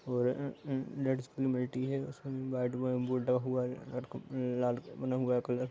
और उसमे लाल का बना हुआ है कलर --